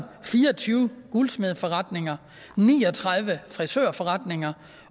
fire og tyve guldsmedeforretninger ni og tredive frisørforretninger